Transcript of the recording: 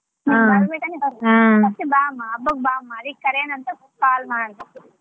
ಮತ್ತೆ ಬಾ ಅಮ್ಮಾ ಹಬ್ಬಕ್ಕ್ ಬಾ ಅಮ್ಮಾ ಅದೆ ಕರಿಯಣಾ ಅಂತ call ಮಾಡ್ದೆ.